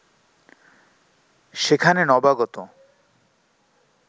সেখানে নবাগত